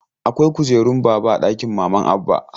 Akwai kujeran baba a ɗakin maman Abba.